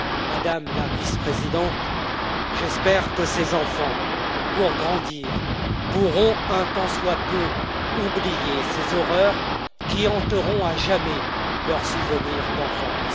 Madame la Vice présidente, j'espère que ces enfants, pour grandir, pourront un tant soit peu oublier ces horreurs, qui hanteront à jamais leurs souvenirs d'enfance.